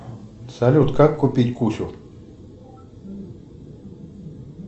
салют как купить кучу